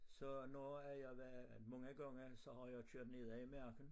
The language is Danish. Så når at jeg var mange gange så har jeg kørt nedaf i marken